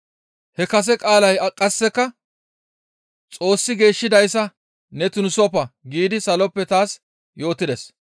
«He kase qaalay qasseka, ‹Xoossi geeshshidayssa ne tunisoppa› giidi saloppe taas yootides.